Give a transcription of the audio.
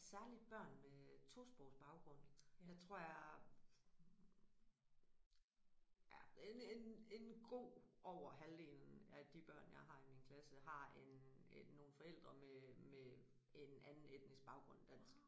Særligt børn med tosprogsbaggrund der tror jeg ja en en en god over halvdelen af de børn jeg har i min klasse har en nogle forældre med med en anden etnisk baggrund end dansk